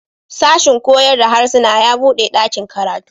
Sashin koyar da harsuna ya buɗe ɗakin karatu.